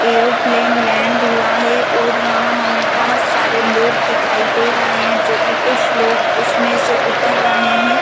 Aeroplane land हुआ है और यहाँ हमे बहोत सारे लोग दिखाई दे रहे है जोकी कुछ लोग उसमें से उतर रहे है।